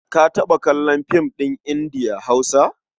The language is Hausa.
Ka taɓa kallon fim ɗin Indiya-Hausa?